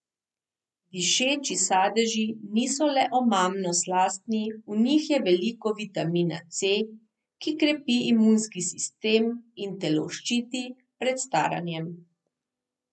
Dišeči sadeži niso le omamno slastni, v njih je veliko vitamina C, ki krepi imunski sistem in telo ščiti pred staranjem.